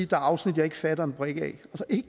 der er afsnit jeg ikke fatter en brik af